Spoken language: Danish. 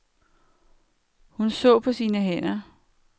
Hun så på sine hænder.